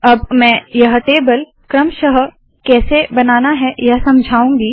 अब मैं यह टेबल क्रमशः कैसे बनाना है यह समझाऊँगी